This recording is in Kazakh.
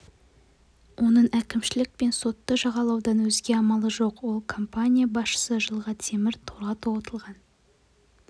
оның әкімшілік пен сотты жағалаудан өзге амалы жоқ ал компания басшысы жылға темір торға тоғытылған